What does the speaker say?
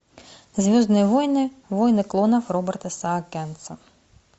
звездные войны войны клонов роберта саакянца